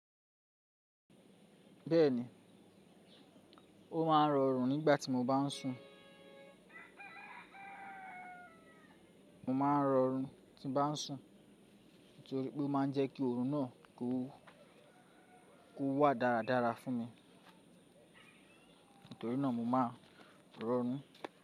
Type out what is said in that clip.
Bẹ́ẹ̀ni, ó máa ń rọrùn nígbà tí mo bá ń sun. Mo máa ń rọrùn kí n bá ń sun, nítorí pé ó máa ń jẹ́ kí oòrùn náà kó, kó wà dáradára fún mi. Nítorí náà mo máa ń rọrùn.